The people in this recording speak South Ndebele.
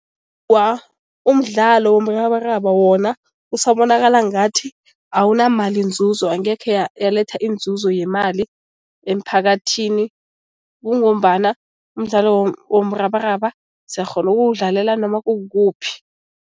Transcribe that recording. umdlalo womrabaraba wona usabonakala ngathi awunamalinzuzo, ngekhe yaletha iinzuzo yemali emphakathini. Kungombana umdlalo womrabaraba siyakghona ukuwudlalela noma kukukuphi.